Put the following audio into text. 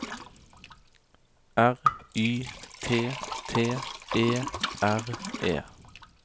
R Y T T E R E